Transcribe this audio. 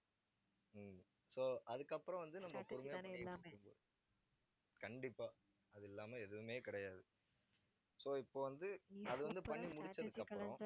so அதுக்கப்புறம் வந்து, கண்டிப்பா, அது இல்லாம எதுவுமே கிடையாது so இப்ப வந்து, அது வந்து பண்ணி முடிச்சதுக்கு அப்புறம்